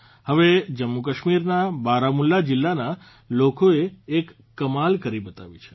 હવે જમ્મુકશ્મીરના બારામુલ્લા જીલ્લાના લોકોએ એક કમાલ કરી બતાવી છે